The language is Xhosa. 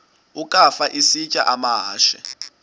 ukafa isitya amahashe